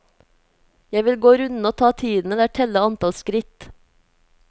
Jeg vil gå runden og ta tiden eller telle antall skritt.